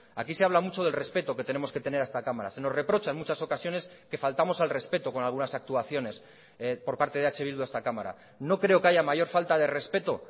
aquí se habla mucho del respeto que tenemos que tener a esta cámara se nos reprocha en muchas ocasiones que faltamos al respeto con algunas actuaciones por parte de eh bildu a esta cámara no creo que haya mayor falta de respeto